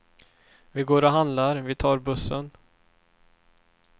Vi går och handlar, vi tar bussen.